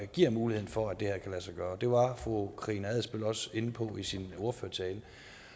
giver muligheden for at det her kan lade sig gøre det var fru karina adsbøl også inde på i sin ordførertale